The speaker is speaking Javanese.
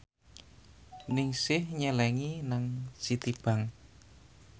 Ningsih nyelengi nang Citibank